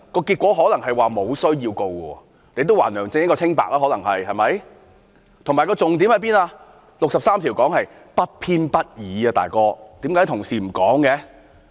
結果可能是沒有需要提告，亦可以還梁振英一個清白，以及重點是《基本法》第六十三條所說的不偏不倚，"老兄"，為何同事不說？